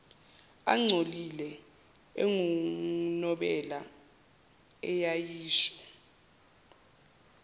engcolile engunobela eyayisho